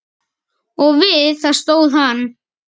Og við það stóð hann.